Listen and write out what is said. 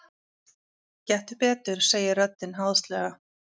Gettu betur, segir röddin háðslega.